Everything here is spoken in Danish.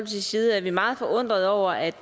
side er vi meget forundrede over at